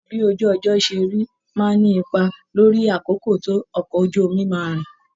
Bí ojú ọjọ́ ṣe rí máa ń ní ipa lórí àkókò tó ọkọ̀ ojú omi máa rìn